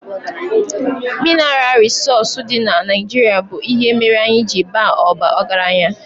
Minaral rịsọọsụ dị na Naijirịa bụ ihe mere anyị ji baa ọgaranya